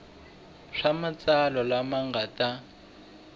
swa matsalwa lama nga ta